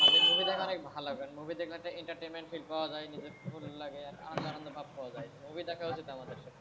movie দেখা অনেক ভালো কারণ movie দেখলে একটা entertainment feel করা যায় নিজেকে খুশি লাগে আনন্দ আনন্দ ভাব পাওয়া যায়, তো movie দেখা হচ্ছে তেমন ভাব,